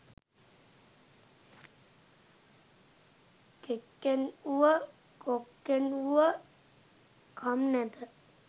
කෙක්කෙන් වුව කොක්කෙන් වුව කම් නැත